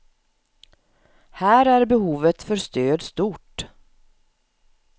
Här är behovet för stöd stort.